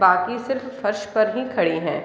बाकी सिर्फ फर्श पर ही खड़े हैं |